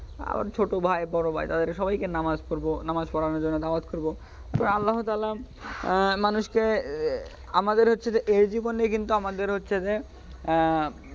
আর ছোট ভাই বড়ো ভাই তাদের সবাইকে নামাজ পড়বো নামাজ পড়ানোর জন্য দাওয়াত করবো আল্লাহ্‌ তালহা আহ মানুষকে আমাদের হচ্ছে যে এই জীবনে আমাদের হচ্ছে যে,